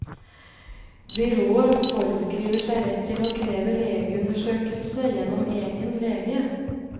Byrået foreskriver seg rett til å kreve legeundersøkelse gjennom egen lege.